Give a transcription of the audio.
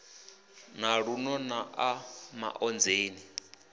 na luno na ḽa maonzeni